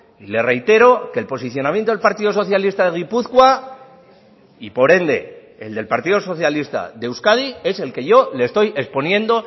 y le reitero que el posicionamiento del partido socialista de gipuzkoa y por ende el del partido socialista de euskadi es el que yo le estoy exponiendo